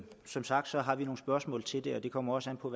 som sagt har vi nogle spørgsmål til det og det kommer også an på